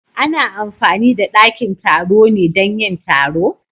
Ana amfani da dakin taro ne dan yin taro?